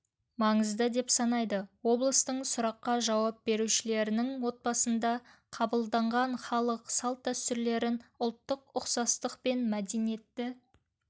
маңызды деп санайды облыстың сұраққа жауап берушілерінің отбасында қабылданған халық салт-дәстүрлерін ұлттық ұқсастық пен мәдениетті